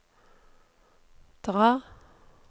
dra